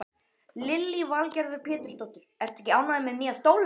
Lillý Valgerður Pétursdóttir: Ertu ekki ánægð með nýja stólinn?